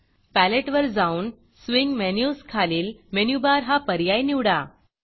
paletteपॅलेट वर जाऊन स्विंग menusस्विंग मेनुस खालील मेनू बार मेनु बारहा पर्याय निवडा